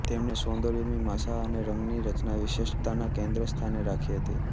તેમણે સૌંદર્યમીમાંસા અને રંગની રચનાની વિશિષ્ટતાને કેન્દ્રસ્થાને રાખી હતી